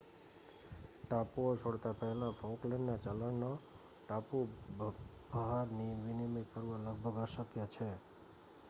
ટાપુઓ છોડતા પહેલા ફોકલેન્ડના ચલણનો ટાપુની ભહાર વિનિમય કરવો લગભગ અશક્ય છે